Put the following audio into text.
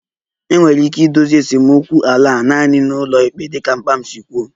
Enwere ike idozi esemokwu ala a naanị n'ụlọikpe dịka papa m si kwuo